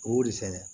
O de fɛnɛ